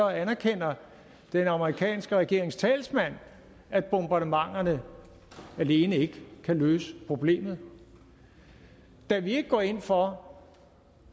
anerkender den amerikanske regerings talsmand at bombardementerne alene ikke kan løse problemet da vi ikke går ind for